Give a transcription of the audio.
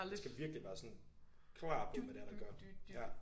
Man skal virkelig være sådan klar på hvad det er der gør